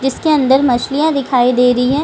जिसके अंदर मछलियाँ दिखाई दे रही हैं।